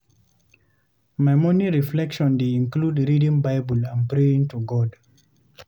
My morning reflection dey include reading Bible and praying to God.